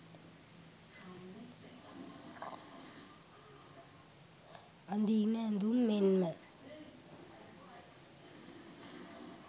අඳීන ඇඳුම් මෙන්ම